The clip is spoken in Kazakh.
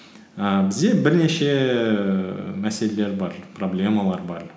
ііі бізде бірнеше ііі мәселелер бар проблемалар бар